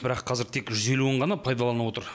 бірақ қазір тек жүз елуін ғана пайдаланып отыр